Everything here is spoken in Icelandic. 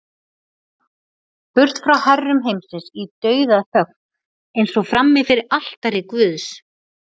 Burt frá herrum heimsins í dauðaþögn, eins og frammi fyrir altari guðs.